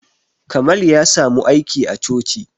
Kamal ya samu aiki a coci